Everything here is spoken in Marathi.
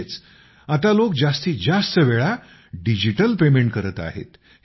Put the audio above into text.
म्हणजेच आता लोक जास्तीत जास्त वेळा डिजिटल पेमेंट करत आहेत